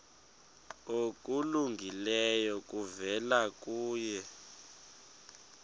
okulungileyo kuvela kuye